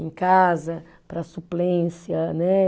Em casa, para suplência, né?